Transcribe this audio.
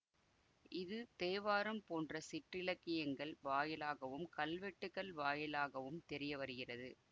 இது தேவாரம் போன்ற சிற்றிலக்கியங்கள் வாயிலாகவும் கல்வெட்டுகள் வாயிலாகவும் தெரிய வருகிறது